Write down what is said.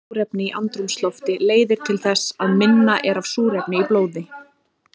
Minna súrefni í andrúmslofti leiðir til þess að minna er af súrefni í blóði.